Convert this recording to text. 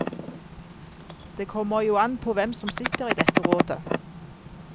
Det kommer jo an påhvem som sitter i dette rådet.